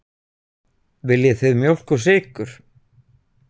Viljið þið mjólk og sykur?